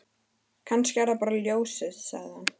Kannski er það bara ljósið, sagði hann.